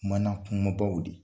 Mana kumabaw de.